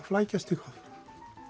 flækjast eitthvað